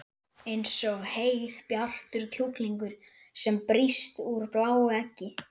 Eins og heiðbjartur kjúklingur sem brýst úr bláu eggi.